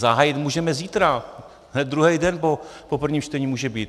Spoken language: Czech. Zahájit můžeme zítra, hned druhý den po prvním čtení může být.